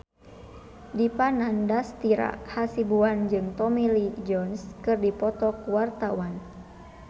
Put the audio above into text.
Dipa Nandastyra Hasibuan jeung Tommy Lee Jones keur dipoto ku wartawan